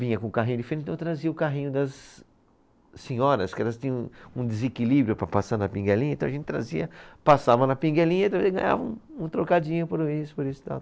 Vinha com o carrinho de feira, ou então trazia o carrinho das senhoras, que elas tinham um desequilíbrio para passar na pinguelinha, então a gente trazia, passava na pinguelinha e também ganhava um, um trocadinho por isso, por isso e tal.